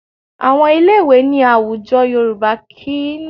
Àwọn ilé-ìwé ní àwùjọ Yorùbá kì í ní yàrá ẹ̀kọ́ kọ̀m̀pútà tẹ́lẹ̀